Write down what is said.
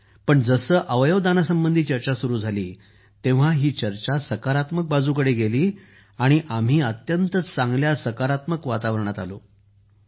पण जसं आम्हाला जेव्हा अवयव दानासंबंधी चर्चा सुरू झाली तेव्हा ही चर्चा सकारात्मक बाजूकडे गेली आणि आम्ही अत्यंत चांगल्या सकारात्मक वातावरणात आलो